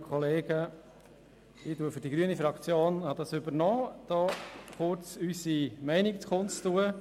Ich werde für die grüne Fraktion kurz unsere Meinung kundtun.